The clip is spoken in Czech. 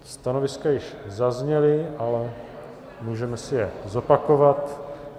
Stanoviska již zazněla, ale můžeme si je zopakovat.